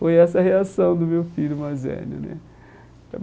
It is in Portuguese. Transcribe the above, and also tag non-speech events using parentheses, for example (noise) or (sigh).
Foi essa a reação do meu filho mais velho né. (unintelligible)